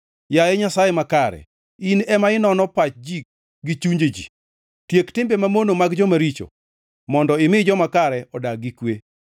Yaye Nyasaye makare, In ema inono pach ji gi chunje ji, tiek timbe mamono mag joma richo mondo imi joma kare odag gi kwe.